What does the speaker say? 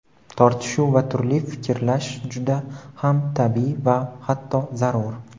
Tortishuv va turli fikrlash juda ham tabiiy va hatto zarur.